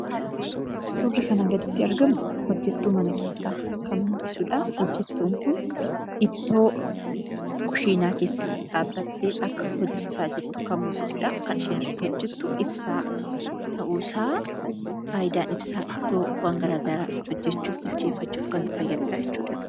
Suurri kanaa gaditti arganu, hojjettuu mana keessaa kan mul'isudha. Jojjettuun Kun ittoo kushiinaa keessa dhaabbattee akka hojjechaa jirtu kan mul'isudhaa. Kan isheen irratti hojjettu ibsaa ta'uu isaa fayidaan ibsaa ittoo waan garaagaraa itti hojjechuufis kan nu fayyadudhaa jechuudha.